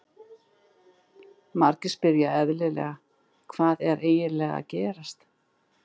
Margir spyrja eðlilega, Hvað er eiginlega að gerast?